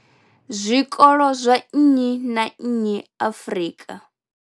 zwikolo zwa nnyi na nnyi Afrika.